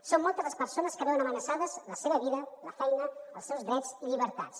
som moltes les persones que veuen amenaçades la seva vida la feina els seus drets i llibertats